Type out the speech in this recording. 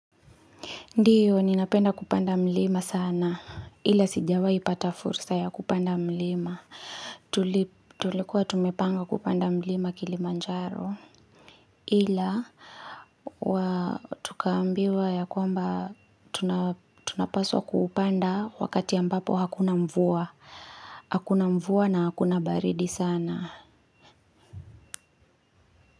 Ndiyo ninapenda kupanda milima sana ila sijawahi pata fursa ya kupanda mlima tulikuwa tumepanga kupanda mlima Kilimanjaro ila tukaambiwa ya kwamba tunapaswa kupanda wakati ambapo hakuna mvua na hakuna baridi sana.